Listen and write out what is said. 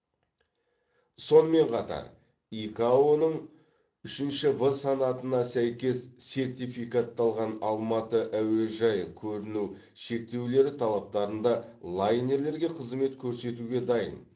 сонымен қатар икао ның үшінші в санатына сәйкес сертификатталған алматы әуежайы көріну шектеулері талаптарында лайнерлерге қызмет көрсетуге дайын